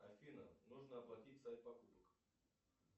афина нужно оплатить сайт покупок